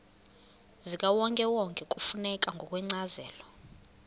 zikawonkewonke kufuneka ngokwencazelo